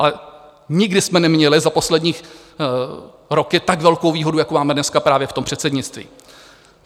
Ale nikdy jsme neměli za poslední roky tak velkou výhodu, jako máme dneska právě v tom předsednictví.